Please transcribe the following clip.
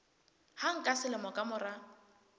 hang ka selemo ka mora